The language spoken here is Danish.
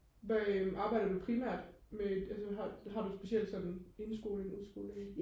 hvad øh arbejder du primært med et øh altså har du et specielt sådan indskoling udskoling